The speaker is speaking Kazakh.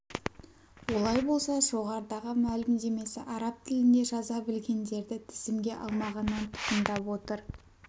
олай болса жоғарыдағы мәлімдемесі араб тілінде жаза білгендерді тізімге алмағаннан туындап отыр